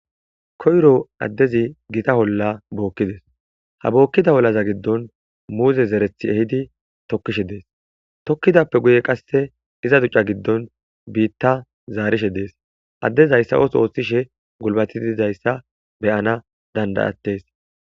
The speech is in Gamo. Koyro adezi Gita olla bokides. Ha bokida ollaza gidon muze zeretha ehidi tokishe dese. Tokidappe guye pizza duc'a gido bitta zarishe des. Ades haysa oso othishe gulbati Des.